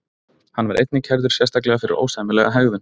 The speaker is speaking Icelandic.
Hann var einnig kærður sérstaklega fyrir ósæmilega hegðun.